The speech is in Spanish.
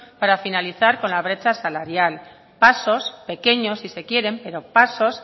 para finalizar con la brecha salarial pasos pequeños si se quieren pero pasos